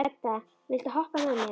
Edda, viltu hoppa með mér?